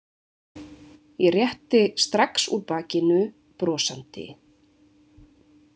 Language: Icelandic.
Ég rétti strax úr bakinu, brosandi.